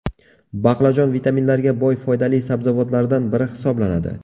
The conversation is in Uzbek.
Baqlajon vitaminlarga boy foydali sabzavotlardan biri hisoblanadi.